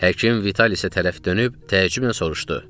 Həkim Vitalisə tərəf dönüb təəccüblə soruşdu.